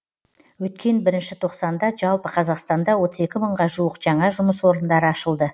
өткен бірінші тоқсанда жалпы қазақстанда отыз екі мыңға жуық жаңа жұмыс орындары ашылды